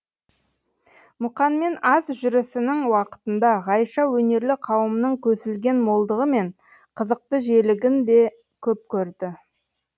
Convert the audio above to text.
мұқанмен аз жүрісінің уақытында ғайша өнерлі қауымның көсілген молдығы мен қызықты желігін де көп көрді